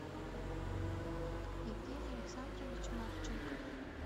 евгений александрович марченков